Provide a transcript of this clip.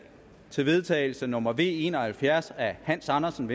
til vedtagelse nummer v en og halvfjerds af hans andersen